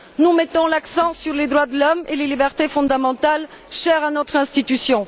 Nous mettons l'accent sur les droits de l'homme et les libertés fondamentales, chers à notre institution.